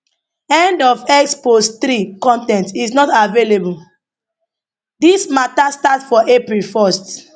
end of x post 3 con ten t is not available dis mata start for april 1st